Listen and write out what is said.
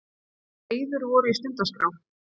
Þegar eyður voru í stundaskrá